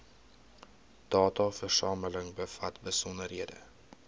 dataversameling bevat besonderhede